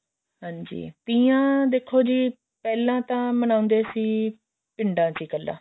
ਹਾਂਜੀ ਤੀਆਂ ਦੇਖੋ ਜੀ ਪਹਿਲਾਂ ਤਾਂ ਮਨਾਉਂਦੇ ਸੀ ਪਿੰਡਾਂ ਚ ਕੱਲਾ